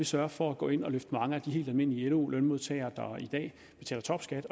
sørger for at gå ind og løfte mange af de helt almindelige lo lønmodtagere der i dag betaler topskat